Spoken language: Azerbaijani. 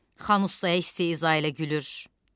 Xan ustaya istehza ilə gülür.